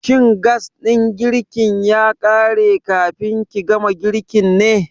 Shin gas ɗin girkin ya ƙare kafin ki gama girkin ne?